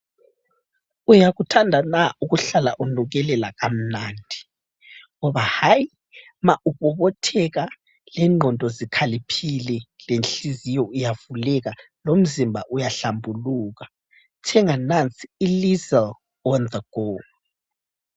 Uyakuthanda na ukuhlala unukelela kamnandi, ngoba hayi uma ubobotheka, lengqondo zikhaliphile, lenhliziyo iyavuleka, lomzimba uyahlambuluka thenga nansi ilyseli on the go.